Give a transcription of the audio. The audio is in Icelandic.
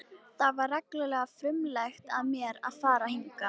Það var reglulega frumlegt af mér að fara hingað.